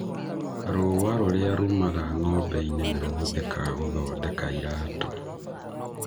rũũa rũrĩa rumaga ng'ombe-inĩ nĩ rũhũthĩkaga gũthondeka iratũ.